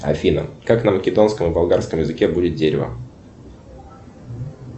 афина как на македонском и болгарском языке будет дерево